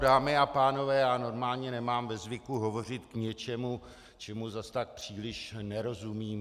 Dámy a pánové, já normálně nemám ve zvyku hovořit k něčemu, čemu zas tak příliš nerozumím.